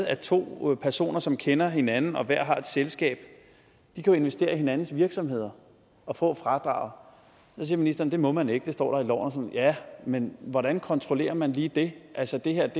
er to personer som kender hinanden og hver har et selskab kan jo investere i hinandens virksomheder og få fradraget så siger ministeren at det må man ikke det står der i loven ja men hvordan kontrollerer man lige det altså det her